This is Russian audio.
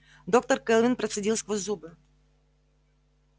доктор кэлвин процедил сквозь зубы